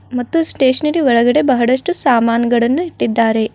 ಮತ್ತು ಸ್ಟೇಷನರಿ ಒಳಗಡೆ ಬಹಳಷ್ಟು ಸಾಮಾನಗಳನ್ನು ಇಟ್ಟಿದ್ದಾರೆ.